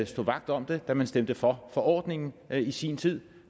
stod vagt om det da man stemte for forordningen i sin tid